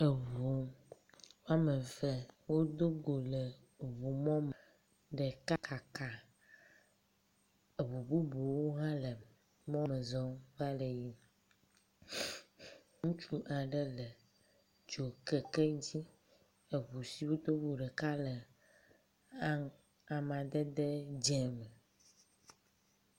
Eŋu ama eve wodo go le ŋumɔme, ɖeka kaka. Eŋu bubuwo hãle mɔme zɔm va le yiyim. Ŋutsu aɖe le dzokeke dzi eŋu siwo dogo ɖeka le amadede dze me.